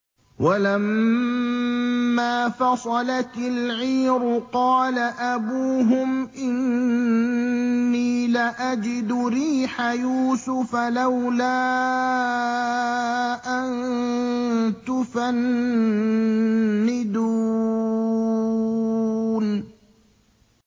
وَلَمَّا فَصَلَتِ الْعِيرُ قَالَ أَبُوهُمْ إِنِّي لَأَجِدُ رِيحَ يُوسُفَ ۖ لَوْلَا أَن تُفَنِّدُونِ